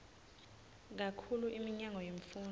kakhulu iminyango yemfundvo